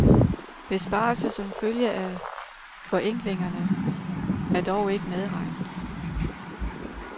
Besparelser som følge af forenklingerne er dog ikke medregnet.